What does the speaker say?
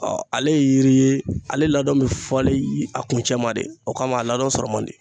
ale ye yiri ye ale ladon bɛ fɔlen a kun cɛ ma de o kama a ladon sɔrɔ man di.